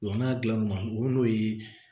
n'a dilan o n'o ye